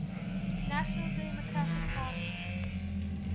national democratic party